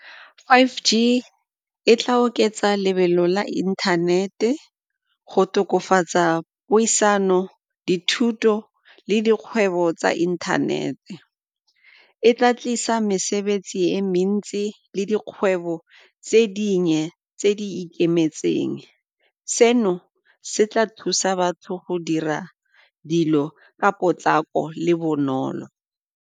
Five G e tla oketsa lebelo la inthanete go tokafatsa puisano, dithuto le dikgwebo tsa inthanete. E tla tlisa mesebetsi e mentsi le dikgwebo tse dinnye tse di ikemetseng. Seno, se tla thusa batho go dira dilo ka potlako le bonolo.